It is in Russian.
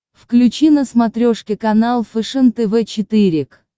включи на смотрешке канал фэшен тв четыре к